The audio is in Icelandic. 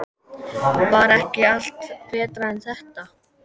Var ekki allt betra en þetta?